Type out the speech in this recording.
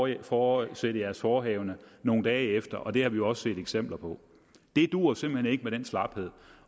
i øvrigt fortsætte jeres forehavende nogle dage efter det har vi jo også set eksempler på det duer simpelt hen ikke med den slaphed